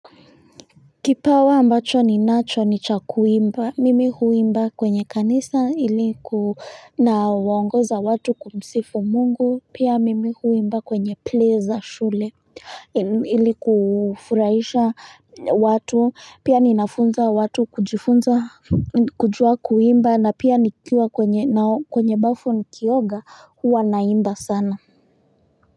Kipawa ambacho ni nacho ni cha kuimba mimi huimba kwenye kanisa iliku nawaongoza watu kumsifu mungu pia mimi huimba kwenye play za shule iliku furahisha watu pia ninafunza watu kujifunza kujua kuimba na pia nikiwa kwenye nao kwenye bafu ni kioga huwa naimba sana.